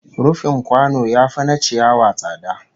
Rufin kwano yafi na ciyawa tsada